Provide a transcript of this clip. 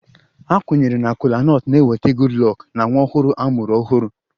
A kwenyere na Kola nut na-eweta Goodluck na nwa ọhụrụ a mụrụ ọhụrụ